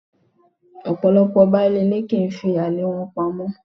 Ọ̀pọ̀lọ́pọ̀ baálé ilé kì í fi àlè wọn pamọ́.